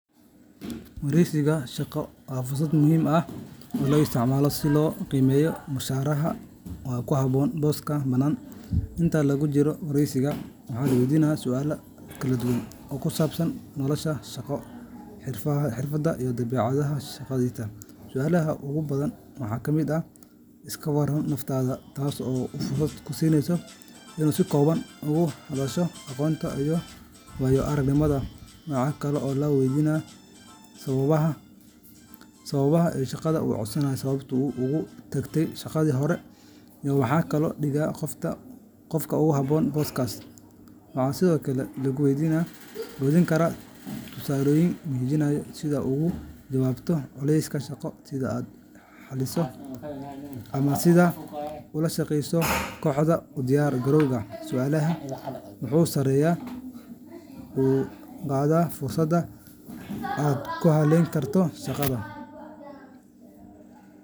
Dowladda Kenya waxay baaritaan rasmi ah u samaysay dhimashadii ka dhacday deegaanka Shakahola ee gobolka Kilifi kadib markii la helay dad badan oo mayd ah oo lagu aasay si qarsoodi ah. Dhimashadan waxay la xiriirtay koox diimeed uu hoggaaminayey Paul Mackenzie, oo lagu eedeeyey in uu dadka ku qanciyey in ay soonaan si ay "Jannada u galaan", taas oo sababtay in dad badan ay gaajo u dhintaan. Baaritaanka waxaa hoggaaminayey hay’adaha amniga sida booliska qaranka, ciidamada baadhista dambiyada DCI, iyo saraakiil caafimaad oo dhanka forensics-ka ah kuwaas oo bilaabay qodista xabaalaha si ay u helaan maydadka la aasay. Dowladda ayaa sidoo kale sameysay guddi baaris madax-bannaan oo loo xilsaaray in ay sahmiyaan waxa dhacay, cidda ka dambeysay, iyo sida loo hor istaagi karo dhacdooyin noocan oo kale ah mustaqbalka. Madaxweynaha Kenya, William Ruto, wuxuu amray in la joojiyo dhaqdhaqaaqyada kooxaha diimeed ee sharci-darrada ah, wuxuuna ballan qaaday in la qaadi doono tallaabo adag si dadka mas’uulka ka ah dhimashadan loo hor keeno cadaaladda. Waxaa kale oo la xiray hoggaamiyihii kooxdaas iyo dhowr qof oo lala xiriirinayo arrinta. Dowladda waxay sidoo kale bilaawday olole lagu wacyigelinayo bulshada si ay uga fogaadaan fikirradaha qaldan ee khatarta ku ah nolosha. Dhacdadan waxay noqotay mid aad u murugo badan, iyadoo sababtay in la su'aalo doorka maamulka deegaanka iyo ilaalinta shacabka.